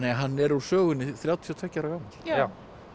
hann er úr sögunni þrjátíu og tveggja ára gamall já